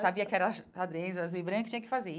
Sabia que era xadrez, azul e branco, e tinha que fazer.